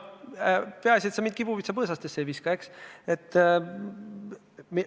Peaasi, et sa mind kibuvitsapõõsasse ei viska, eks ole.